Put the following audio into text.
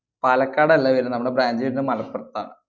പാലക്കാടല്ല വരുന്നെ നമ്മടെ branch വരുന്നെ മലപ്പ്രത്താ.